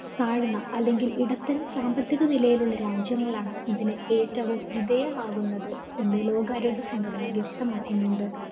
താഴ്ന്ന അല്ലെങ്കില്‍ ഇടത്തരം സാമ്പത്തിക നിലയിലുള്ള രാജ്യങ്ങളാണ്‌ ഇതിന് ഏറ്റവും വിധേയമാകുന്നത് എന്ന് ലോകാരോഗ്യസംഘടന വ്യക്തമാക്കുന്നുണ്ട്.